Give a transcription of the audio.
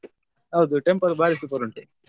ಹೌದು temple ಬಾರಿ super ಉಂಟು.